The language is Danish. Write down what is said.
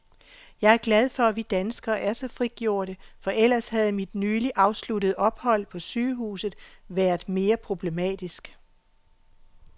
Jeg er glad for, at vi danskere er så frigjorte, for ellers havde mit nyligt afsluttede ophold på sygehuset været mere problematisk.